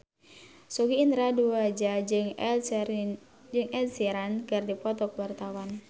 Sogi Indra Duaja jeung Ed Sheeran keur dipoto ku wartawan